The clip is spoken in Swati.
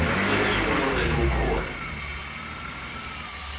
wesilungu lovele ukhona